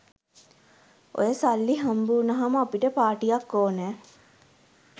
ඔය සල්ලි හම්බවුණාම අපට පාටියක් ඕනැ.